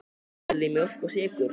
Viljið þið mjólk og sykur?